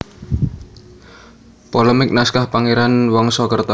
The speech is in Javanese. Polemik Naskah Pangeran Wangsakerta